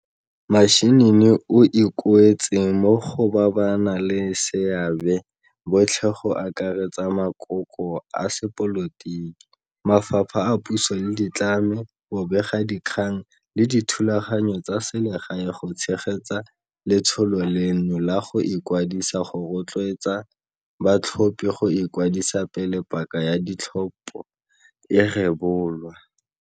Mashinini o ikuetse mo go ba ba naleseabe botlhe go akaretsa makoko a sepolotiki, mafapha a puso le ditlamo, bobegadikgang le dithulaganyo tsa selegae go tshegetsa letsholo leno la go ikwadisa go rotloetsa batlhophi go ikwadisa pele paka ya di tlhopho e rebolwa.